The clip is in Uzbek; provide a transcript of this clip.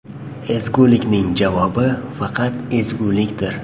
Ezgulikning javobi faqat ezgulikdir.